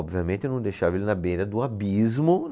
Obviamente eu não deixava ele na beira do abismo.